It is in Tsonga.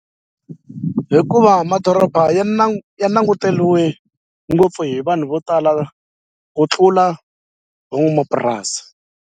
Hikuva madoroba ya ya nanguteriwe ngopfu hi vanhu vo tala ku tlula van'wamapurasi.